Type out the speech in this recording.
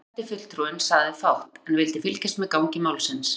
Þýski sendifulltrúinn sagði fátt, en vildi fylgjast með gangi málsins.